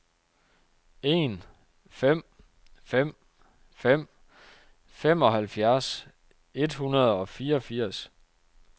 en fem fem fem femoghalvfjerds et hundrede og fireogfirs